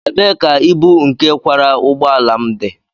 Ebee ka ibu nke kwara ụgbọ ala m dị?